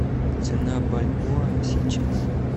цена бальбоа сейчас